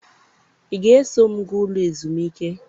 ị ga-eso m gaa Ụlọ ezumike?